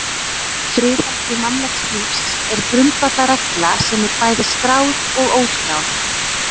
Friðhelgi mannlegs lífs er grundvallarregla sem er bæði skráð og óskráð.